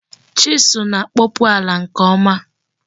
Chisụl na-akpọpu ala nke ọma.